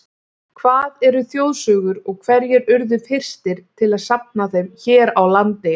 Hvað eru þjóðsögur og hverjir urðu fyrstir til að safna þeim hér á landi?